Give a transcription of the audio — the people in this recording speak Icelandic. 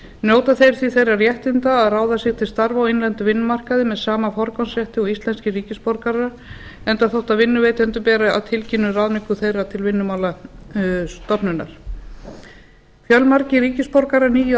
njóta þeir því þeirra réttinda að ráða sig til starfa á innlendum vinnumarkaði með sama forgangsrétti og íslenskir ríkisborgarar enda þótt vinnuveitendum beri að tilkynna ráðningu þeirra til vinnumálastofnunar fjölmargir ríkisborgarar nýju